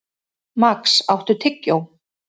Max, áttu tyggjó?